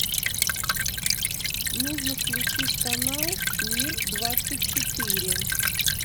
нужно включить канал мир двадцать четыре